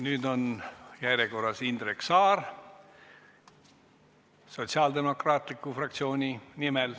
Nüüd on järjekorras Indrek Saar sotsiaaldemokraatliku fraktsiooni nimel.